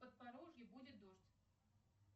в подпорожье будет дождь